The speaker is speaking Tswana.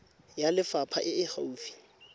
ya lefapha e e gaufi